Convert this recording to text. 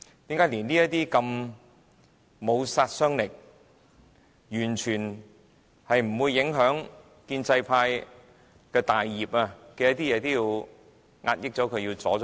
為何連如此不具殺傷力、完全不會影響建制派大業的"察悉議案"也要遏抑和阻撓？